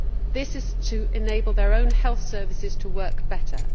This is to enable their own health services to work better.